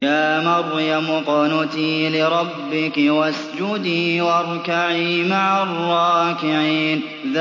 يَا مَرْيَمُ اقْنُتِي لِرَبِّكِ وَاسْجُدِي وَارْكَعِي مَعَ الرَّاكِعِينَ